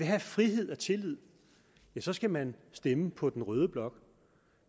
have frihed og tillid ja så skal man stemme på den røde blok